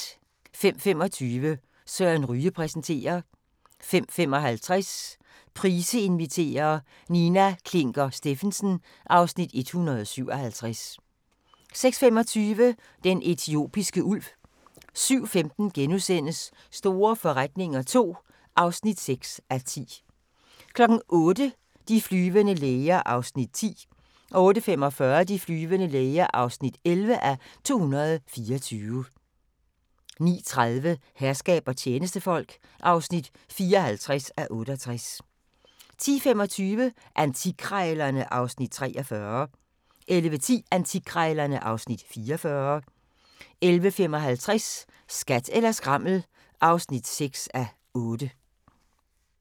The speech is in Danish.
05:25: Søren Ryge præsenterer 05:55: Price inviterer - Nina Klinker Stephensen (Afs. 157) 06:25: Den etiopiske ulv 07:15: Store forretninger II (6:10)* 08:00: De flyvende læger (10:224) 08:45: De flyvende læger (11:224) 09:30: Herskab og tjenestefolk (54:68) 10:25: Antikkrejlerne (Afs. 43) 11:10: Antikkrejlerne (Afs. 44) 11:55: Skat eller skrammel (6:8)